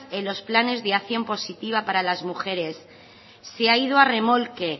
en los planes de acción positiva para las mujeres se ha ido a remolque